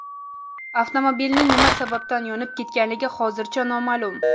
Avtomobilning nima sababdan yonib ketganligi hozircha noma’lum.